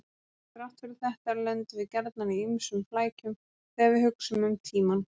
Þrátt fyrir þetta lendum við gjarnan í ýmsum flækjum þegar við hugsum um tímann.